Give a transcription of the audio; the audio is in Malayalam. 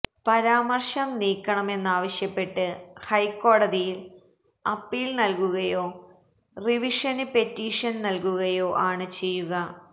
പരാമര്ശം നീക്കണമെന്നാവശ്യപ്പെട്ട് ഹൈക്കോടതിയില് അപ്പീല് നല്കുകയോ റിവിഷന് പെറ്റീഷന് നല്കുകയോ ആണ് ചെയ്യുക